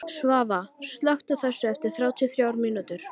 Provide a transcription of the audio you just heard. Svava, slökktu á þessu eftir þrjátíu og þrjár mínútur.